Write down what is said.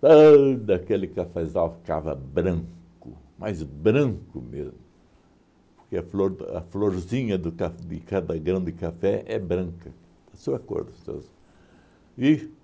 todo aquele cafezal ficava branco, mas branco mesmo, porque a flor a florzinha do caf de cada grão café é branca, da sua cor dos seus. E